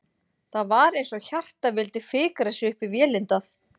Það var eins og hjartað vildi fikra sig upp í vélindað.